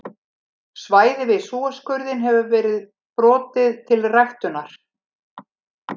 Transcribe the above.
Svæði við Súesskurðinn hefur verið brotið til ræktunar.